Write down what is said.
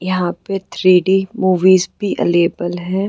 यहाँ पे three D movies भी अविलेब्ल है।